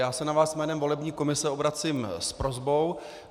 Já se na vás jménem volební komise obracím s prosbou.